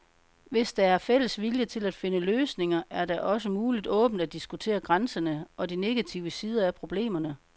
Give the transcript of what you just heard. Hvis der er fælles vilje til at finde løsninger, er det også muligt åbent at diskutere grænserne og de negative sider af problemerne.